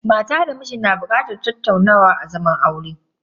Mata da miji na bukatar tattaunawa a zaman aure.